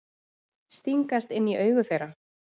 Stingast inn í augu þeirra.